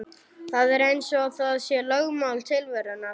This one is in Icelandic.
Það er eins og það sé lögmál tilverunnar.